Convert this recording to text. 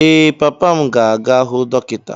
Ee, papa m ga-aga hụ dọkịta.